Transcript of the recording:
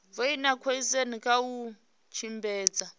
vhoina goosen kha u tshimbidza